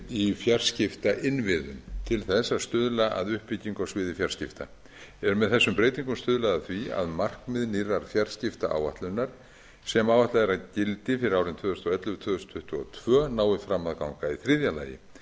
í fjarskiptainnviðum til þess að stuðla að uppbyggingu á sviði fjarskipta er með þessum breytingum stuðlað að því að markmið nýrrar fjarskiptaáætlunar sem áætlað er að gildi fyrir árin tvö þúsund og ellefu til tvö þúsund tuttugu og tveir nái fram að ganga í þriðja lagi